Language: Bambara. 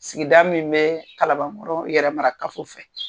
Sigida min bɛ kalabankɔrɔ yɛrɛmara kafo fɛ